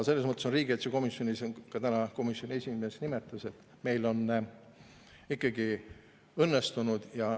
Selles mõttes on riigikaitsekomisjonis – ka täna komisjoni esimees seda nimetas – meil ikkagi see õnnestunud.